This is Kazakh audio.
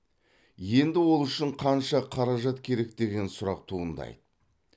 енді ол үшін қанша қаражат керек деген сұрақ туындайды